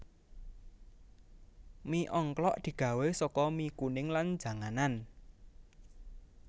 Mi ongklok digawé saka mi kuning lan janganan